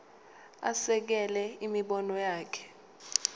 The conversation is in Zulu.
asekele imibono yakhe